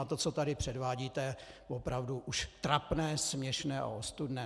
A to, co tady předvádíte, je opravdu už trapné, směšné a ostudné.